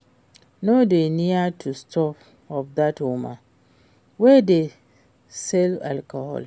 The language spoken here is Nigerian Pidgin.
No dey near the shop of dat woman wey dey sell alcohol